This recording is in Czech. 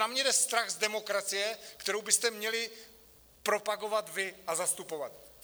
Na mě jde strach z demokracie, kterou byste měli propagovat vy a zastupovat.